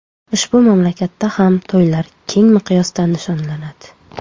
Ushbu mamlakatda ham to‘ylar keng miqyosda nishonlanadi.